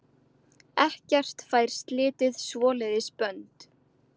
Ekkert fær slitið svoleiðis bönd.